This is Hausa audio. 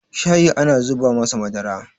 shayi ana zuba masa Madara